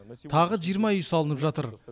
тағы жиырма үй салынып жатыр